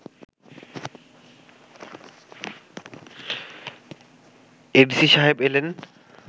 ADC সাহেব এলেন